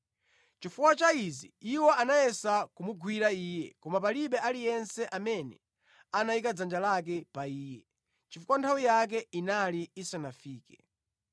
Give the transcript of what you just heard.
Chifukwa cha izi iwo anayesa kumugwira Iye, koma palibe aliyense amene anayika dzanja lake pa Iye, chifukwa nthawi yake inali isanafike.